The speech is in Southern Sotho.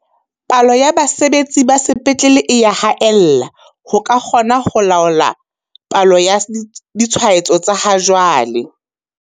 Palo ya basebetsi ba sepetlele e ya haella ho ka kgona ho laola palo ya ditshwaetso tsa ha jwale.